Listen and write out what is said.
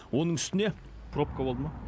оның үстіне пробка болды ма